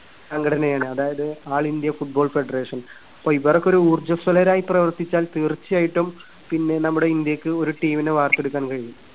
സംഘടനയാണ് അതായത് all India football federation. അപ്പോ ഇവരൊക്കെ ഒരു ഊർജ്വസ്വലരായി പ്രവർത്തിച്ചാൽ തീർച്ചയായിട്ടും പിന്നെ നമ്മുടെ ഇന്ത്യക്ക് ഒരു team നെ വാർത്തെടുക്കാൻ കഴിയും.